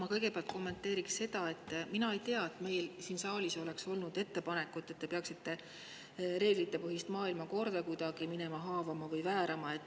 Ma kõigepealt kommenteerin seda: mina ei tea, et meil siin saalis oleks olnud ettepanekut, et te peaksite reeglitepõhist maailmakorda kuidagi minema haavama või väärama.